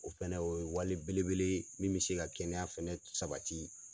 O fɛnɛ o ye wali bele bele ye min bɛ se ka kɛnɛya fɛnɛ sabati.